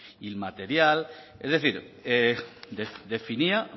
inmaterial es decir definía